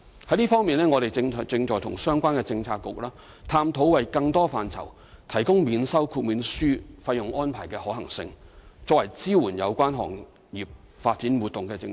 就這方面，我們正與相關政策局探討為更多範疇提供免收豁免書費用安排的可行性，以作為支援有關行業發展、活動的政策。